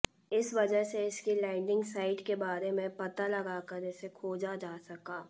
इस वजह से इसकी लैंडिंग साइट के बारे में पता लगाकर इसे खोजा जा सका